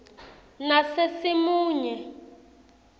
nasesimunye